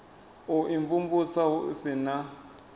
u imvumvusa hu si na